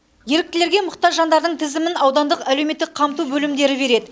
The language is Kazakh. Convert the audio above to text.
еріктілерге мұқтаж жандардың тізімін аудандық әлеуметтік қамту бөлімдері береді